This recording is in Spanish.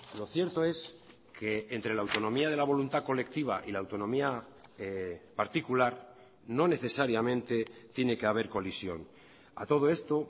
lo cierto es que entre la autonomía de la voluntad colectiva y la autonomía particular no necesariamente tiene que haber colisión a todo esto